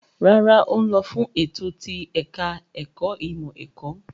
Rárá, ó ń lọ fún ètò ti ẹ̀ka-ẹ̀kọ́ ìmọ̀-ẹ̀kọ́.